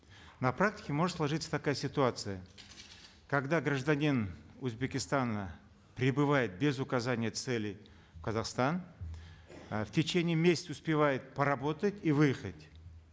на практике может сложиться такая ситуация когда гражданин узбекистана прибывает без указания цели в казахстан э в течение месяца успевает поработать и выехать